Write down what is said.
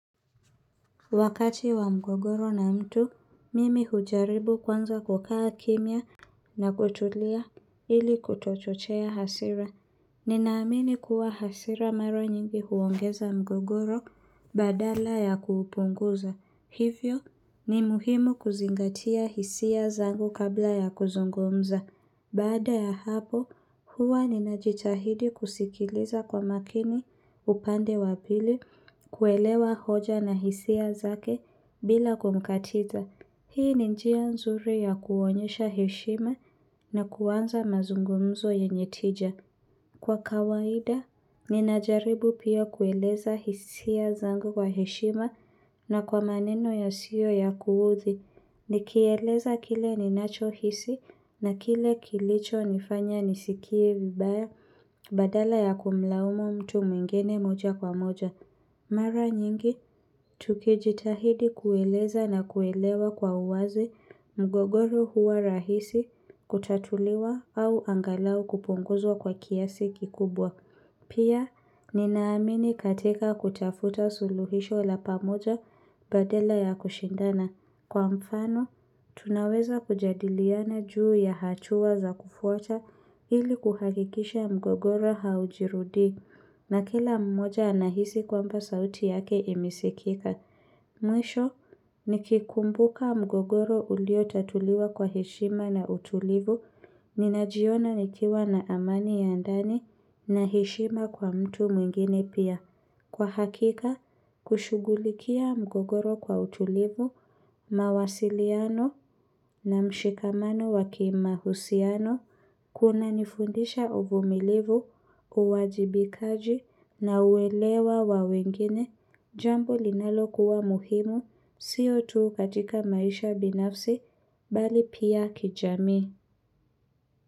Wakati wa mgogoro na mtu, mimi hujaribu kwanza kukaa kimya na kutulia ili kuto chochea hasira. Ninaamini kuwa hasira mara nyingi huongeza mgogoro badala ya kupunguza. Hivyo ni muhimu kuzingatia hisia zangu kabla ya kuzungumza. Baada ya hapo, huwa ninajitahidi kusikiliza kwa makini upande wa pili kuelewa hoja na hisia zake bila kumkatiza. Hii ni njia nzuri ya kuonyesha heshima na kuanza mazungumzo yenye tija. Kwa kawaida, ninajaribu pia kueleza hisia zangu kwa heshima na kwa maneno ya siyo ya kuudhi. Ni kieleza kile ninacho hisi na kile kilicho nifanya nisikie vibaya badala ya kumlaumu mtu mwingene moja kwa moja. Mara nyingi, tukijitahidi kueleza na kuelewa kwa uwazi mgogoro huwa rahisi kutatuliwa au angalau kupunguzwa kwa kiasi kikubwa. Pia, ninaamini katika kutafuta suluhisho la pamoja badala ya kushindana. Kwa mfano, tunaweza kujadiliana juu ya hachua za kufuata ili kuhakikisha mgogoro haujirudi. Na kila mmoja anahisi kwamba sauti yake imisikika. Mwisho, nikikumbuka mgogoro ulio tatuliwa kwa hishima na utulivu, ninajiona nikiwa na amani ya ndani na heshima kwa mtu mwingine pia. Kwa hakika, kushugulikia mgogoro kwa utulivu, mawasiliano na mshikamano wa kimahusiano. Kuna nifundisha uvumilivu, uwajibikaji na uwelewa wa wengine, jambo linalo kuwa muhimu, siyo tuu katika maisha binafsi, bali pia kijamii.